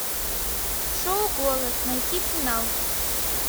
шоу голос найти финал